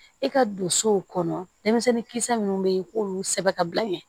I ka don so kɔnɔ denmisɛnnin kisɛ minnu bɛ yen i k'olu sɛbɛ ka bila ɲɛ